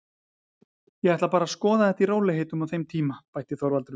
Ég ætla bara að skoða þetta í rólegheitum á þeim tíma, bætti Þorvaldur við.